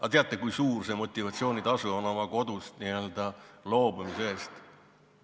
Aga teate, kui suur see motivatsioonitasu on oma kodust n-ö loobumise eest?